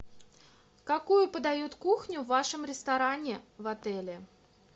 какую подают кухню в вашем ресторане в отеле